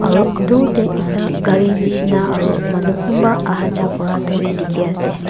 aro dur tae ekta gari nishina aro manu kunba ahajaha kura tu dikhiase.